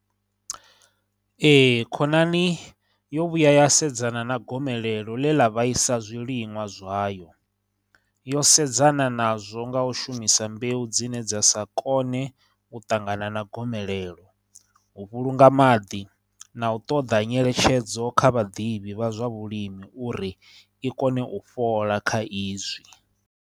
Ee, khonani yo vhuya ya sedzana na gomelelo ḽe ḽa vhaisa zwiliṅwa zwayo, yo sedzana nazwo nga u shumisa mbeu dzine dza sa kone u ṱangana na gomelelo, u vhulunga maḓi, na u ṱoḓa nyeletshedzo kha vhaḓivhi vha zwa vhulimi uri i kone u fhola kha izwi.